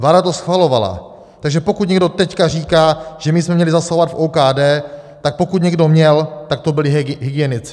Vláda to schvalovala, takže pokud někdo teď říká, že my jsme měli zasahovat v OKD, tak pokud někdo měl, tak to byli hygienici.